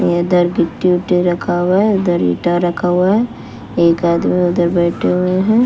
इधर गिट्टी उटी रखा हुआ है उधर इटा रखा हुआ है एक आदमी उधर बैठे हुए हैं।